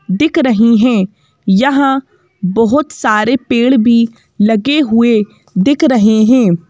दिख रही हैं यहां बहोत सारे पेड़ भी लगे हुए दिख रहे हैं।